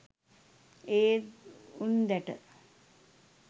ඒත් උන්දැට.